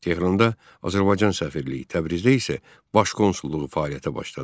Tehranda Azərbaycan səfirliyi, Təbrizdə isə baş konsulluğu fəaliyyətə başladı.